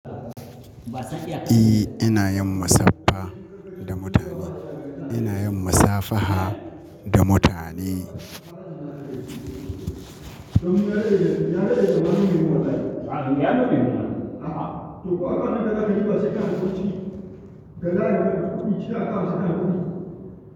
E, ina yin musaffa da mutane. Ina yin musafaha da mutane.